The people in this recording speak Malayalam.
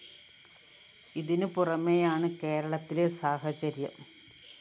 ഇതിനു പുറമെയാണ്‌ കേരളത്തിലെ സാഹചര്യം